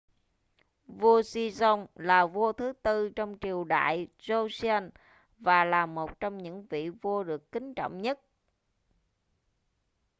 vua sejong là vua thứ tư trong triều đại joseon và là một trong những vị vua được kính trọng nhất